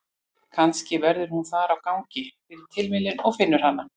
Kannski verður hún þar á gangi fyrir tilviljun og finnur hana.